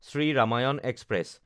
Shri Ramayan express